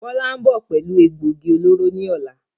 Bọlá ń bọ̀ pẹ̀lú egbògi olóró ni ọ̀la